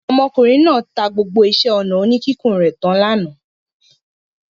Ọmọkùnrin náà ta gbogbo iṣẹ́-ọnà oníkíkùn rẹ̀ tán lánàá.